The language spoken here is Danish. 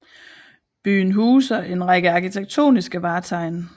Byen huser en række arkitektoniske vartegn